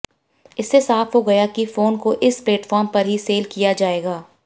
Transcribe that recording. इससे साफ हो गया है कि फोन को इस प्लेटफॉर्म पर ही सेल किया जाएगा